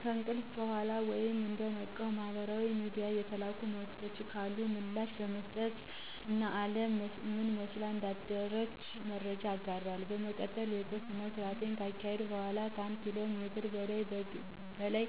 ከእንቅልፍ በኋላ ወይም እንደነቃው ማህበራዊ ሚድያ የተላኩ መልዕክቶች ካሉ ምላሽ በመስጠት እና አለም ምን መስላ እንዳደረች መረጃዎች እጋራለሁ። በመቀጠል የቁርስ ስነስርዓት ካካሄድኩ በኋላ ከአንድ ኪሎ ሜትር በላይ